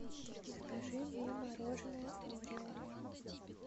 закажи мне мороженое орео